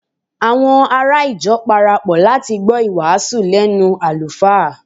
àwọn ará ìjọ parapọ láti gbọ iwasu lẹnu alufa